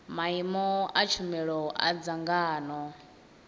maimo a tshumelo a dzangano